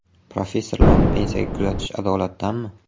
Professorlarni pensiyaga kuzatish adolatdanmi?.